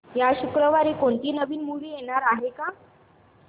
या शुक्रवारी कोणती नवी मूवी येणार आहे का